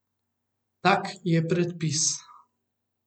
Tak je predpis.